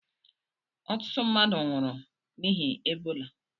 Ọtụtụ mmadụ nwụrụ n'ihi Ebola